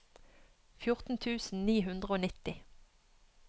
fjorten tusen ni hundre og nitti